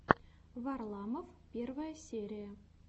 варламов первая серия